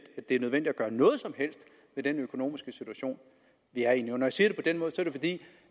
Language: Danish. er nødvendigt at gøre noget som helst ved den økonomiske situation vi er i når